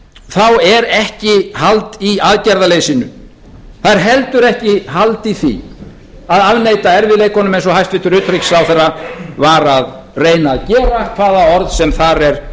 þá er ekki hald í aðgerðaleysinu það er heldur ekki hald í því að afneita erfiðleikunum eins og hæstvirtur utanríkisráðherra var að reyna að gera hvaða orð sem þar er